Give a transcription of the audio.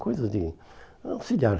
Coisas de auxiliar.